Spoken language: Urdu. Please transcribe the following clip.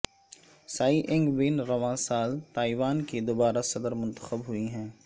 سائی اینگ وین رواں سال تائیوان کی دوبارہ صدر منتخب ہوئی ہیں